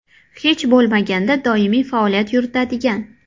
Hech bo‘lmaganda doimiy faoliyat yuritadigan.